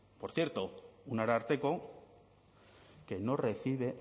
por cierto un ararteko que no recibe